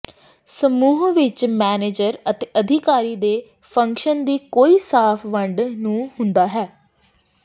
ਸਮੂਹ ਵਿੱਚ ਮੈਨੇਜਰ ਅਤੇ ਅਧਿਕਾਰੀ ਦੇ ਫੰਕਸ਼ਨ ਦੀ ਕੋਈ ਸਾਫ ਵੰਡ ਨੂੰ ਹੁੰਦਾ ਹੈ